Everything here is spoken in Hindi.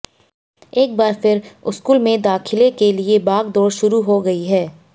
एक बार फिर स्कूल में दाखिले के लिए भागदौड़ शुरू हो गई है